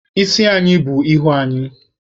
Isi anyị bù ihu anyị